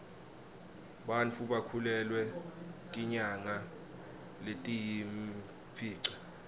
bantfu bakhulelwa tinyanga letiyimfica